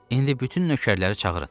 İndi bütün nökərləri çağırın.